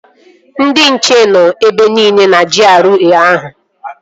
Ndị nche nọ ebe nile na GRA ahụ